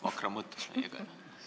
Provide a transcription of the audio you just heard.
Vakra on mõttes meiega, jah.